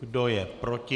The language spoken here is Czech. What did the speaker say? Kdo je proti?